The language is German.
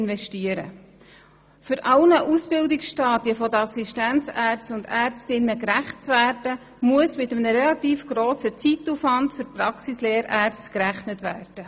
Um allen Ausbildungsstadien der Assistenzärztinnen und Assistenzärzte gerecht zu werden, muss mit einem relativ grossen Zeitaufwand für die Praxislehrärzte gerechnet werden.